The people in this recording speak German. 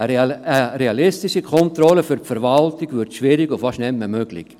Eine realistische Kontrolle für die Verwaltung wird schwierig und ist fast nicht mehr möglich.